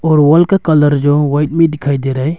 और वॉल का कलर जो व्हाइट में दिखाई दे रहा है।